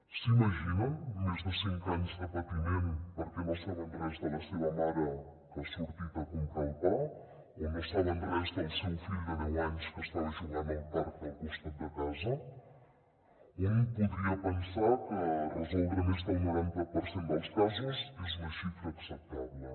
s’imaginen més de cinc anys de patiment perquè no saben res de la seva mare que ha sortit a comprar el pa o no saben res del seu fill de deu anys que estava jugant al parc del costat de casa un podria pensar que resoldre més del noranta per cent dels casos és una xifra acceptable